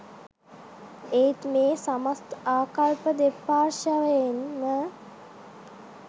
ඒත් මේ සමස්ත ආකල්ප දෙපාර්ශවයෙන්ම